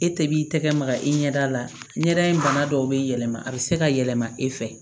E tɛ b'i tɛgɛ maga i ɲɛda la ɲɛda in bana dɔw bɛ yɛlɛma a bɛ se ka yɛlɛma e fɛ